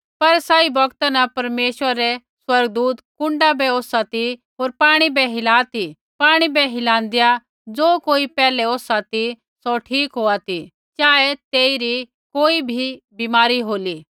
पर सही बौगता न परमेशवरा रै स्वर्गदूत कुण्डा बै ओसा ती होर पाणी बै हिला ती पाणी बै हिलांदैआ ज़े कोई पैहलै ओसा ती सौ ठीक होआ ती चाहे तेइरी कोई भी बीमारी होली